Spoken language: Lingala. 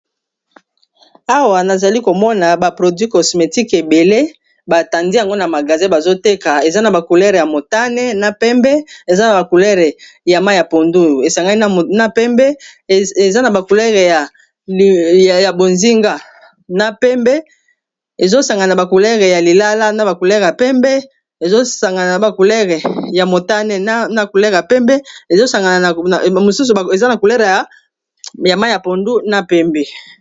Awa nazali komona ba produit cosmétique ebele batandi yango na magasin bazoteka eza na ba couleur ya motane, na pembe eza na ba couleur ya mayi ya pondu esangani na pembe, bozinga , ya lilala , pembe esangani na motane, na couleur ya pembe, mosusu eza na couleur ya mayi ya pondu na pembe.